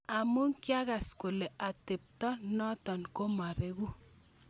"Amu kiakase kole ateponoto komabeku."